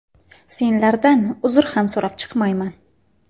Senlardan uzr ham so‘rab chiqmayman!